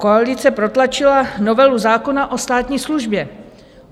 Koalice protlačila novelu zákona o státní službě.